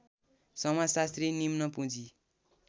समाजशास्त्री निम्न पुँजी